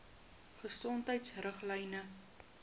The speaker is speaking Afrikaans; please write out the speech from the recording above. gesondheidriglyne